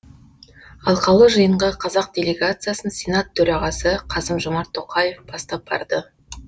алқалы жиынға қазақ делегациясын сенат төрағасы қасым жомарт тоқаев бастап барды